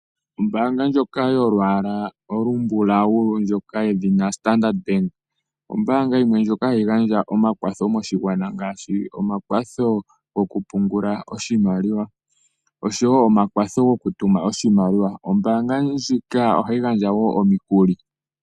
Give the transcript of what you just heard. Ombaanga ndjoka yolwaala olumbulau, yedhina Standard Bank, ombaanga yimwe ndjoka hayi gandja omakwatho moshigwana; ngaashi omakwatho gokupungula nokutuma oshimaliwa. Ombaanga ndjika ohayi gandja wo omikuli.